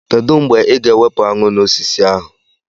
Kedụ mgbe ị ga-ewepụ aṅụ n'osisi ahụ?